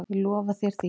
Ég lofa þér því.